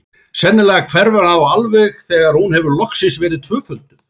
Sennilega hverfur hann þá alveg þegar hún hefur loksins verið tvöfölduð.